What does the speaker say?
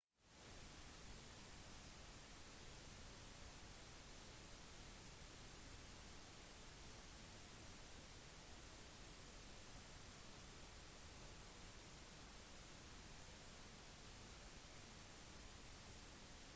tyrkias areal gjør det til verdens trettisyvende største land og har cirka samme størrelse som metropolitan frankrike og storbritannia kombinert